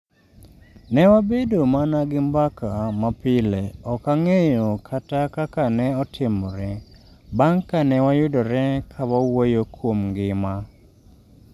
Ne wabedo mana gi mbaka ma pile, ok ang’eyo kata kaka ne otimore, bang’ ka ne wayudore ka wawuoyo kuom ngima.